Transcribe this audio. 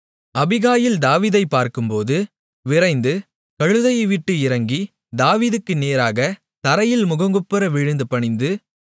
Abigail தாவீதைப் பார்க்கும்போது விரைந்து கழுதையை விட்டு இறங்கி தாவீதுக்கு நேராகத் தரையில் முகங்குப்புற விழுந்து பணிந்து